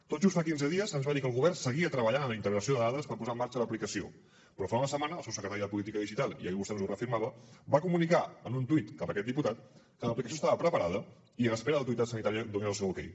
tot just fa quinze dies se’ns va dir que el govern seguia treballant en la integració de dades per posar en marxa l’aplicació però fa una setmana el seu secretari de política digital i ahir vostè ens ho reafirmava va comunicar en un tuit cap a aquest diputat que l’aplicació estava preparada i a l’espera que l’autoritat sanitària donés el seu okay